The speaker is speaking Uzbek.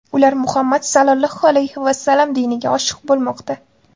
Ular Muhammad Sollallohu alayhi vasallam diniga oshiq bo‘lmoqda.